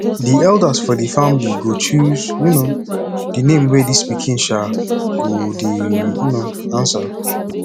di eldas for di family go choose um di name wey dis pikin um go dey um answer